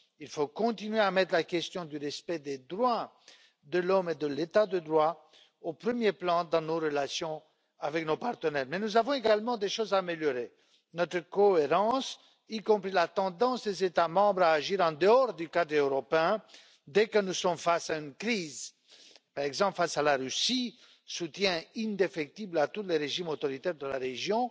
Il faut continuer à mettre la question du respect des droits de l'homme et de l'état de droit au premier plan dans nos relations avec nos partenaires. Nous avons toutefois également des choses à améliorer notre cohérence, y compris la tendance des États membres à agir en dehors du cadre européen dès que nous sommes face à une crise, par exemple face à la Russie et le soutien indéfectible à tous les régimes autoritaires de la région.